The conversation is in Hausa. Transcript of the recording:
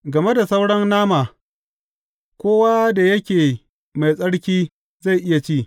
Game da sauran nama, kowa da yake mai tsarki zai iya ci.